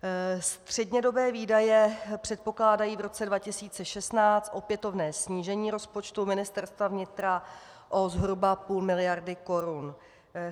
Střednědobé výdaje předpokládají v roce 2016 opětovné snížení rozpočtu Ministerstva vnitra o zhruba půl miliardy korun.